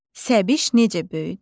Səbiş necə böyüdü.